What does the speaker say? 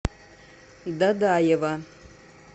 дадаева